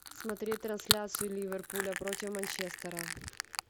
смотреть трансляцию ливерпуля против манчестера